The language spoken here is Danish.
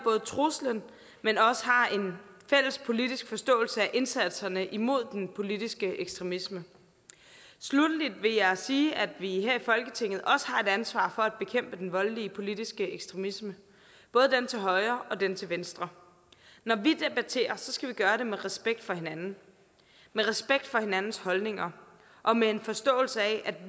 truslen men også har en fælles politisk forståelse af indsatserne imod den politiske ekstremisme sluttelig vil jeg sige at vi her i folketinget også har et ansvar for at bekæmpe den voldelige politiske ekstremisme både den til højre og den til venstre når vi debatterer skal vi gøre det med respekt for hinanden med respekt for hinandens holdninger og med en forståelse af